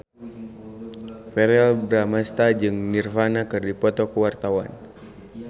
Verrell Bramastra jeung Nirvana keur dipoto ku wartawan